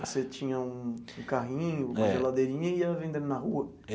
Você tinha um um carrinho, uma geladeirinha e ia vendendo na rua?